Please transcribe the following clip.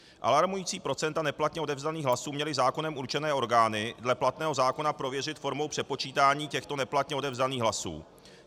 Alarmující procenta neplatně odevzdaných hlasů měly zákonem určené orgány dle platného zákona prověřit formou přepočítání těchto neplatně odevzdaných hlasů.